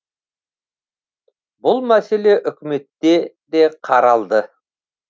бұл мәселе үкіметте де қаралды